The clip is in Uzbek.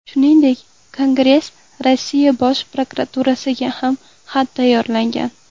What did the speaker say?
Shuningdek, Kongress Rossiya Bosh prokuraturasiga ham xat tayyorlagan.